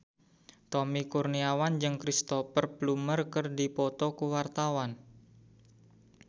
Tommy Kurniawan jeung Cristhoper Plumer keur dipoto ku wartawan